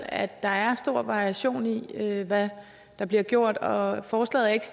at der er stor variation i i hvad der bliver gjort og forslaget er ikke